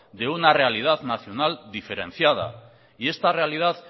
de una realidad nacional diferenciada y esta realidad